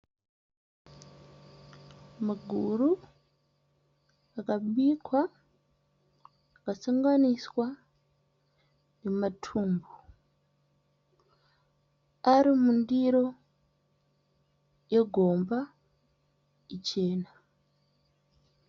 Maguru akabikwa akasanganiswa nematumbu ,ari mundiro yegomba ichena.